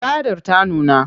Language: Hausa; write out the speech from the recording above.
Tsadar ta nuna.